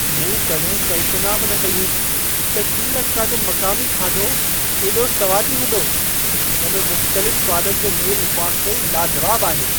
मूं कॾहिं कल्पना बि न कई हुई त श्रीलंका जो मक़ामी खाधो एॾो सवादी हूंदो। इन में मुख़्तलिफ़ स्वादनि जो मेलु वाक़ई लाजवाबु आहे।